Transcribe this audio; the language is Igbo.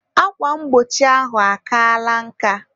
Akwa mgbochi ahụ akaala nka